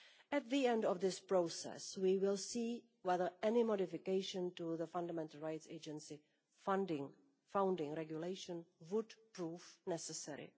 At the end of this process we will see whether any modification to the Fundamental Rights Agency founding Regulation will prove necessary.